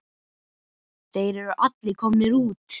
Þeir eru allir komnir út.